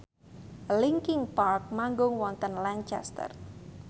linkin park manggung wonten Lancaster